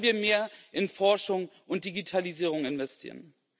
Wollen wir mehr in Forschung und Digitalisierung investieren?